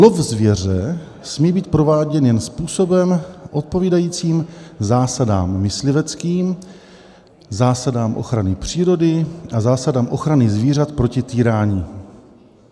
Lov zvěře smí být prováděn jen způsobem odpovídajícím zásadám mysliveckým, zásadám ochrany přírody a zásadám ochrany zvířat proti týrání."